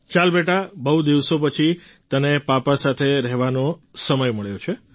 ચાલ બેટા બહુ દિવસો પછી તને પાપા સાથે રહેવાનો સમય મળ્યો છે